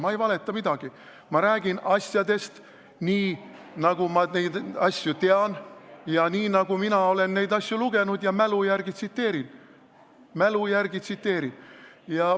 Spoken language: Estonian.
Ma ei valeta midagi, ma räägin asjadest nii, nagu ma neid asju tean, ja nii, nagu mina olen nendest lugenud, ma mälu järgi tsiteerin.